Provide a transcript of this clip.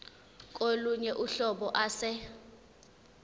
kolunye uhlobo ase